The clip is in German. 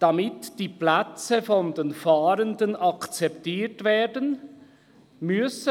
«Damit die Plätze von den Fahrenden akzeptiert werden [